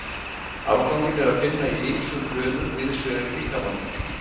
Afganginn er að finna í ýmsum frumum víðs vegar í líkamanum.